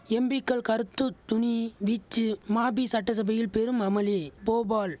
எம்பிக்கள் கறுத்துத்துணி வீச்சு மபி சட்டசபையில் பெரும் அமளி போபால்